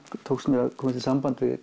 tókst mér að komast í samband við